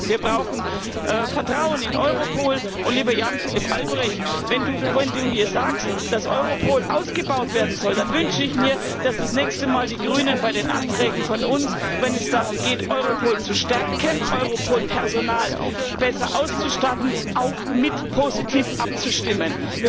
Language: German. Wir brauchen Vertrauen in Europol, und, lieber Jan Philipp Albrecht, wenn du hier sagst, dass Europol ausgebaut werden soll, dann wünsche ich mir, dass die Grünen das nächste Mal bei den Anträgen von uns wenn es darum geht, Europol zu stärken, Europol besser mit Personal auszustatten auch mit positiv abstimmen.